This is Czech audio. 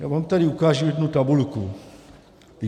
Já vám tady ukážu jednu tabulku.